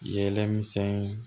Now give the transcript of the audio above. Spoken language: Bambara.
Yɛlɛ misɛn